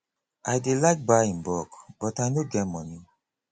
i dey like buy in bulk but i no get moni